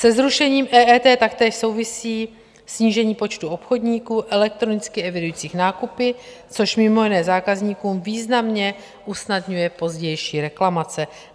Se zrušením EET taktéž souvisí snížení počtu obchodníků elektronicky evidujících nákupy, což mimo jiné zákazníkům významně usnadňuje pozdější reklamace.